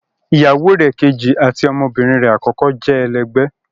Iyàwọ rè̀ kẹjì àti ọmọbirin rè akọkọ rè jẹ́ èlẹgbẹ